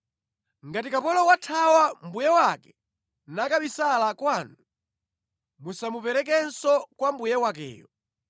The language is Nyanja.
Ngati kapolo wathawa mbuye wake nakabisala kwanu, musamuperekenso kwa mbuye wakeyo.